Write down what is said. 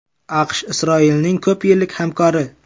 AQSh Isroilning ko‘p yillik hamkori.